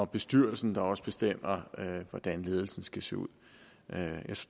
bestyrelsen der også bestemmer hvordan ledelsen skal se ud jeg